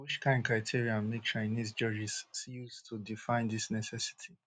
but which kain criteria make chinese judges use to define dis necessity